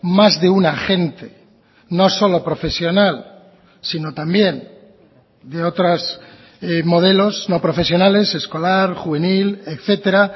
más de un agente no solo profesional sino también de otras modelos no profesionales escolar juvenil etcétera